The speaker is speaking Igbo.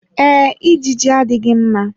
Ee, ijiji adịghị mma.